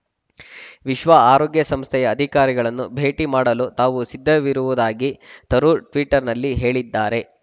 ವಿಶ್ವ ಆರೋಗ್ಯ ಸಂಸ್ಥೆಯ ಅಧಿಕಾರಿಗಳನ್ನು ಭೇಟಿ ಮಾಡಲು ತಾವು ಸಿದ್ಧವಿರುವುದಾಗಿ ತರೂರ್‌ ಟ್ವೀಟರ್‌ನಲ್ಲಿ ಹೇಳಿದ್ದಾರೆ